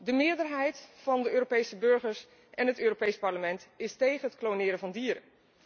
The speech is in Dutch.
De meerderheid van de Europese burgers en het Europees Parlement is tegen het kloneren van dieren.